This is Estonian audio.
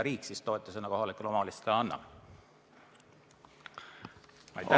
Riik võiks kohalikule omavalitsusele selle eest mingi summa anda.